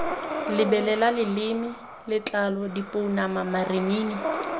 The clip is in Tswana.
lebelela leleme letlalo dipounama marinini